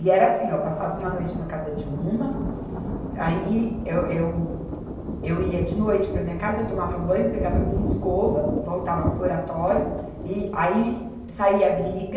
E era assim, ó, eu passava uma noite na casa de uma, aí eu, eu, eu ia de noite para a minha casa, eu tomava banho, pegava a minha escova, voltava para o Oratório, e aí saía briga,